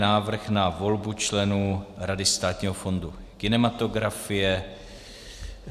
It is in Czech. Návrh na volbu členů Rady Státního fondu kinematografie